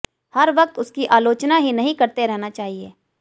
हर वक्त उसकी आलोचना ही नहीं करते रहना चाहिए